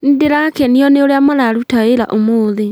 Nĩndĩrakenio nĩ ũrĩa mararuta wĩra ũmũthĩ